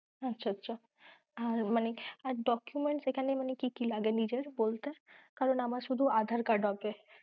আচ্ছা আচ্ছা! আর মানে আর documents এখানে কি কি লাগে, নিজের বলতে, আরে না আমার শুধু aadhar card আছে।